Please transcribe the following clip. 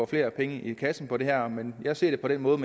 flere penge i kassen på det her men jeg ser det på den måde